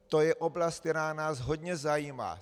To je oblast, která nás hodně zajímá.